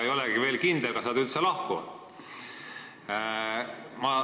Ei olegi veel kindel, kas nad üldse lahkuvad.